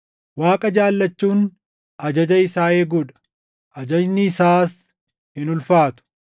Waaqa jaallachuun ajaja isaa eeguu dha. Ajajni isaas hin ulfaatu.